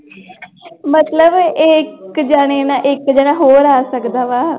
ਮਤਲਬ ਇੱਕ ਜਾਣੇ ਨਾਲ ਇੱਕ ਜਾਣਾ ਹੋਰ ਆ ਸਕਦਾ ਵਾ।